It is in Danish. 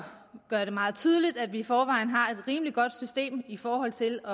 gøre det meget tydeligt at vi i forvejen har et rimelig godt system i forhold til at